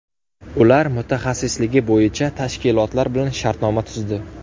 Ular mutaxassisligi bo‘yicha tashkilotlar bilan shartnoma tuzdi.